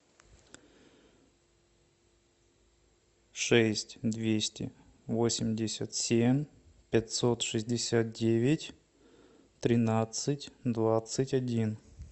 шесть двести восемьдесят семь пятьсот шестьдесят девять тринадцать двадцать один